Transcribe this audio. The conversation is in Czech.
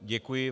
Děkuji.